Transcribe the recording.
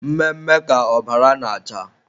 Mme mme ka ọbara na-acha.